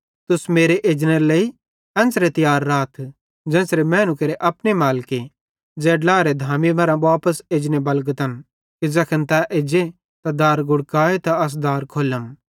तुस मेरे एजनेरे लेइ एन्च़रे तियार राथ ज़ेन्च़रे मैनू केरे अपने मालिके ज़ै ड्लाएरे धामी मरां वापस एजने बलगतन कि ज़ैखन तै एज्जे ते दार गुड़कान त अस दार खोल्लम